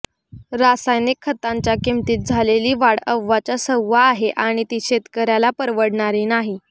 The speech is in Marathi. रासायनिक खतांच्या किंमतीत झालेली वाढ अव्वाच्या सव्वा आहे आणि ती शेतकऱ्याला परवडणारी नाही